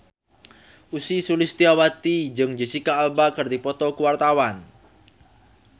Ussy Sulistyawati jeung Jesicca Alba keur dipoto ku wartawan